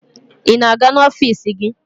Ị na-aga n'ọfiisi gị?